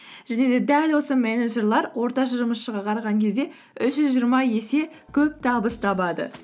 және де дәл осы менеджерлер орташа жұмысшыға қараған кезде үш жүз жиырма есе көп табыс табады